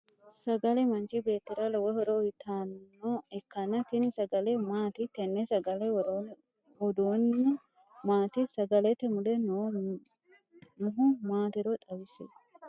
Sagale manchi beetira lowo horo uyitano ikanna tinni sagale maati? Tenne sagale woroonni uduunni maati? Sagalete mule noohu maatiro xawisi?